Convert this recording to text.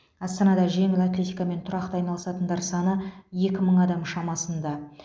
астанада жеңіл атлетикамен тұрақты айналысатындар саны екі мың адам шамасында